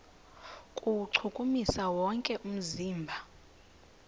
kuwuchukumisa wonke umzimba